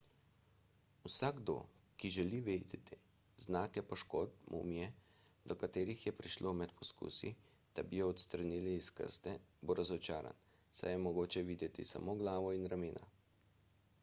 vsakdo ki želi videti znake poškodb mumije do katerih je prišlo med poskusi da bi jo odstranili iz krste bo razočaran saj je mogoče videti samo glavo in ramena